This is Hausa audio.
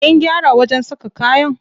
Kin gyara wajen saka kayan?